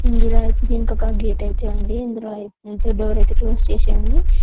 ఇందులో దీని కొక గేట్ ఐతే ఉంది ఇందులో డోర్ ఐతే క్లోజ్ చేసి ఉంది.